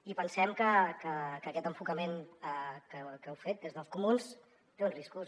i pensem que aquest enfocament que heu fet des dels comuns té uns riscos